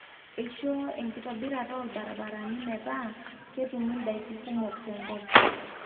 eishoo enkitobirata olbarabarani meeta ketumi ndaiki kumok tenkop